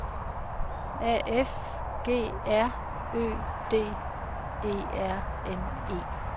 A F G R Ø D E R N E